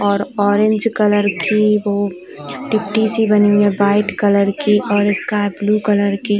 और orange colour की वो सी बनी हैं वाइट कलर की और स्काइ ब्लू कलर की।